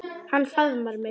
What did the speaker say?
Hann faðmar mig.